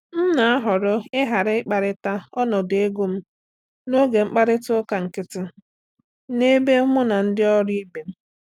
M na-ahọrọ ịghara ikwurịta ọnọdụ ego m n’oge mkparịta ụka nkịtị n'ebe mu na ndị ọrụ ibe m.